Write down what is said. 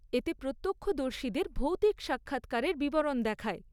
এতে প্রত্যক্ষদর্শীদের ভৌতিক সাক্ষাৎকারের বিবরণ দেখায়।